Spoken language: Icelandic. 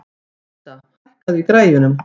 Vísa, hækkaðu í græjunum.